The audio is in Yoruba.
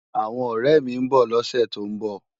Awòn òrè mi n bò lòsè tó n bò